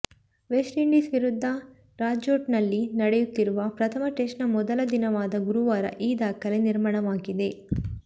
West Indies ವಿರುದ್ಧ ರಾಜ್ಕೋಟ್ನಲ್ಲಿ ನಡೆಯುತ್ತಿರುವ ಪ್ರಥಮ ಟೆಸ್ಟ್ ನ ಮೊದಲ ದಿನವಾದ ಗುರುವಾರ ಈ ದಾಖಲೆ ನಿರ್ಮಾಣವಾಗಿದೆ